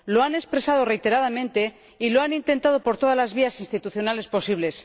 Lo han expresado reiteradamente y lo han intentado por todas las vías institucionales posibles.